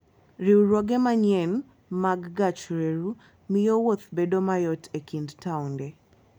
Riwruoge manyien mag gach reru miyo wuoth bedo mayot e kind taonde.